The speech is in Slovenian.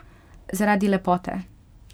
Zaradi lepote?